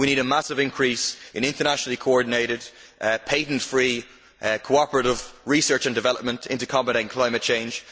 We need a massive increase in internationally coordinated, patent free, cooperative research and development into combating climate change.